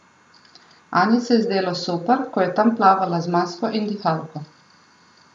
Anji se je zdelo super, ko je tam plavala z masko in dihalko.